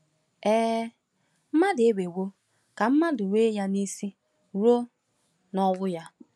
Ee, “mmadụ emewo ka mmadụ nwe ya n’isi ruo n’ọnwụ ya.”